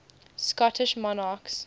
scottish monarchs